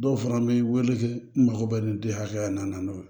Dɔw fana bɛ wele n mago bɛ nin di hakɛya in na n'o ye